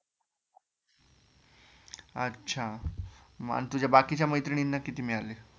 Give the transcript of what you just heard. आच्छा मग तुझ्या बाकीच्या मैत्रिणींना किती मिळाले?